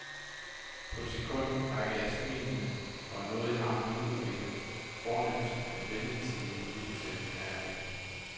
På et sekund rækker jeg smilende og nådigt armen op og vinker fornemt, men venligt til en forbipasserende herre i mængden.